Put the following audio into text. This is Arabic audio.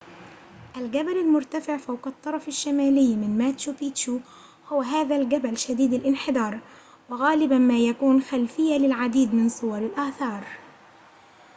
الجبل المرتفع فوق الطرف الشمالي من ماتشو بيتشو هو هذا الجبل شديد الانحدار وغالباً ما يكون خلفية للعديد من صور الآثار